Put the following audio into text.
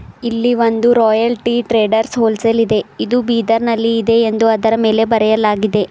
ಇಲ್ಲಿ ಒಂದು royal tea traders ಹೋಲ್ಸೇಲಿ ದೆ ಇದು ಬೀದರ್ ನಲ್ಲಿದೆ ಎಂದು ಅದರ ಮೇಲೆ ಬರೆಯಲಾಗಿದೆ.